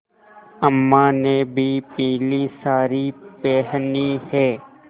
अम्मा ने भी पीली सारी पेहनी है